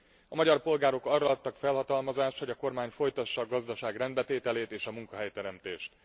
A magyar polgárok arra adtak felhatalmazást, hogy a kormány folytassa a gazdaság rendbetételét és a munkahelyteremtést.